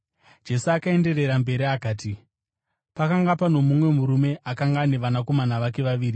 Jesu akaenderera mberi akati: “Pakanga pano mumwe murume akanga ane vanakomana vake vaviri.